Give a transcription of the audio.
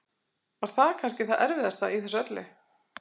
Var það kannski það erfiðasta í þessu öllu?